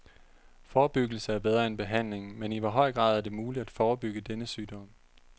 Forebyggelse er bedre end behandling, men i hvor høj grad er det muligt at forebygge denne sygdom?